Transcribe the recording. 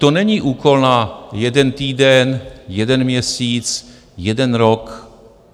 To není úkol na jeden týden, jeden měsíc, jeden rok.